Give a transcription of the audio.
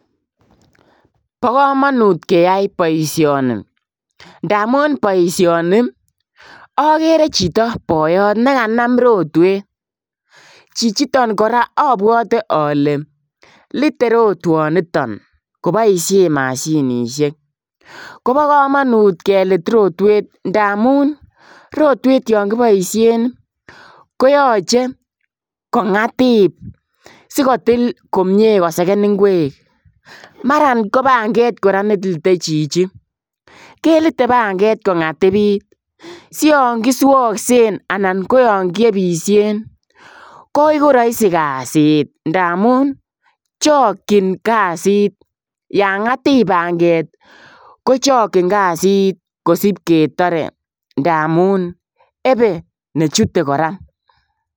Bo kamanut keyai boisioni ndamuun boisioni agere chitoo boyoot be kanam rotweet chichitoon kora abwate ale litee rotwanitoon kobaisheen mashinisheek Kobo kamanut keliit rotweet ndamuun rotweet yaan kibaisheen ko yachei kongative sikotill komyei kosegeen ikwek maran ko pangeeet ne litee chichi kelite pangeeet kongatibit sian ki swagseen anan ko yaan kiebishen ii koegu raisi kazit ndamuun chokyiin kazit yaan ngatiip pangeeet ko chagyiin kasiit kosip ketare ndamuun ebe nechute kora.